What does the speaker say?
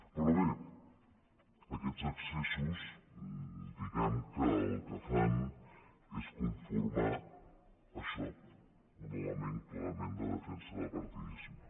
però bé aquests excessos diguem que el que fan és conformar això un element clarament de defensa de partidisme